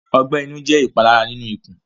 Ọgbẹ inu jẹ ipalara ninu ikun